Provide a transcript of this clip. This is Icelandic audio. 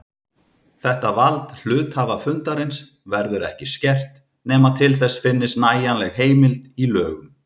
Þetta vald hluthafafundarins verður ekki skert nema til þess finnist nægjanleg heimild í lögum.